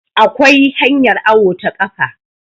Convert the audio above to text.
akwai hanyar awo ta kafa